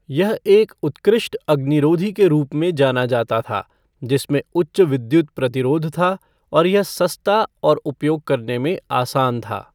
यह एक उत्कृष्ट अग्निरोधी के रूप में जाना जाता था, जिसमें उच्च विद्युत प्रतिरोध था, और यह सस्ता और उपयोग करने में आसान था।